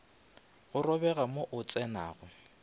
go robega mo o tsenago